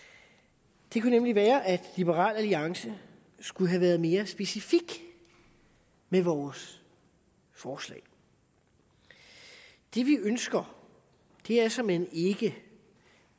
det kunne nemlig være at liberal alliance skulle have været mere specifikke i vores forslag det vi ønsker er såmænd ikke